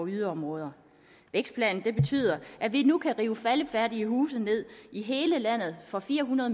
yderområder vækstplanen betyder at vi nu kan rive faldefærdige huse ned i hele landet for fire hundrede